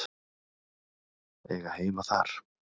Eiga heima þar?